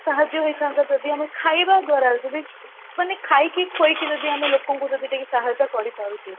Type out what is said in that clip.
ସାହାଯ୍ୟ ହେଇଥାନ୍ତା ଯଦି ଆମେ ଖାଇବା ଦ୍ଵାରା ଯଦି ମାନେ ଖାଇକି ଖୁଆଇକି ଯଦି ଆମେ ଲୋକ ଙ୍କୁ ଯଦି ଟିକେ ସହାୟତା କରିପାରୁଛେ